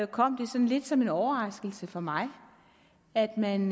kom det sådan lidt som en overraskelse for mig at man